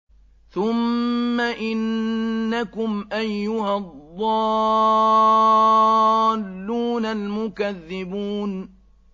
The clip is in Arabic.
ثُمَّ إِنَّكُمْ أَيُّهَا الضَّالُّونَ الْمُكَذِّبُونَ